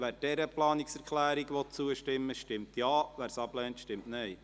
Wer dieser Planungserklärung zustimmen will, stimmt Ja, wer sie ablehnt, stimmt Nein.